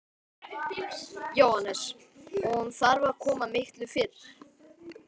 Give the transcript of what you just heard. Jóhannes: Og hún þarf að koma miklu fyrr?